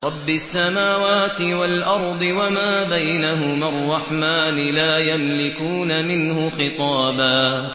رَّبِّ السَّمَاوَاتِ وَالْأَرْضِ وَمَا بَيْنَهُمَا الرَّحْمَٰنِ ۖ لَا يَمْلِكُونَ مِنْهُ خِطَابًا